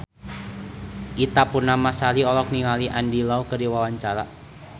Ita Purnamasari olohok ningali Andy Lau keur diwawancara